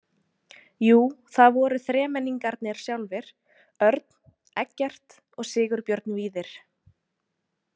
Jú, það voru þremenningarnir sjálfir, Örn, Eggert og Sigurbjörn Víðir.